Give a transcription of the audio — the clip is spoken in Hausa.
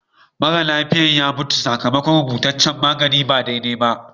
Mara lafiyan ya mutu sakamakon rubutaccen magani ba daidai ba.